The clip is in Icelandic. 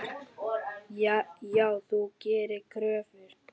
Já, þau gera kröfur.